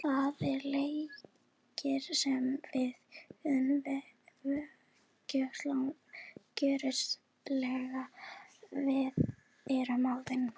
Það er leikur sem við gjörsamlega verðum að vinna!